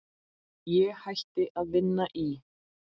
Ég hætti að vinna í